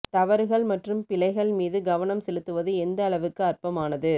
தவறுகள் மற்றும் பிழைகள் மீது கவனம் செலுத்துவது எந்த அளவுக்கு அற்பமானது